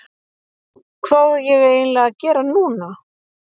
Hvað á ég eiginlega að gera núna???